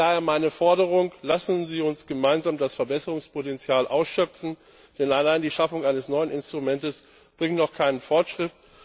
Daher meine Forderung Lassen Sie uns gemeinsam das Verbesserungspotenzial ausschöpfen, denn allein die Schaffung eines neuen Instruments bringt noch keinen Fortschritt.